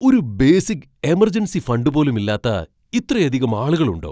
ഒരു basic emergency fund പോലും ഇല്ലാത്ത ഇത്രയധികം ആളുകളുണ്ടോ?